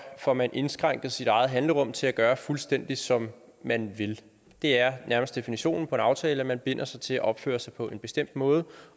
får man indskrænket sit handlerum til at gøre fuldstændig som man vil det er nærmest definitionen på en aftale nemlig at man binder sig til at opføre sig på en bestemt måde